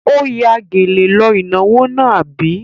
Ó ya gèlè lọ ìnáwó náà, àbí?